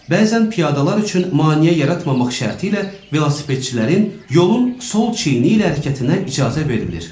Bəzən piyadalar üçün maneə yaratmamaq şərti ilə velosipedçilərin yolun sol çiyini ilə hərəkətinə icazə verilir.